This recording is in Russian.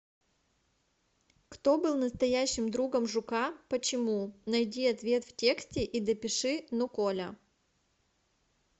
кто был настоящим другом жука почему найди ответ в тексте и допиши но коля